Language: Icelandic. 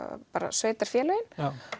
sveitarfélögin